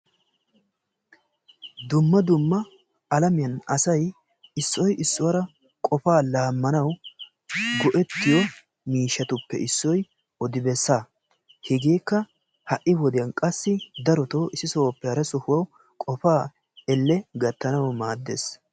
Dumma dumma alamiyan asay issoy issuwara qofaa laamanawu go'ettiyo miishshatuppe issoy odi bessa, hegeekka ha'i wodiyan qassi darottoo issi sohoppe hara sohuwa qofaa elle gattanawu maaddees.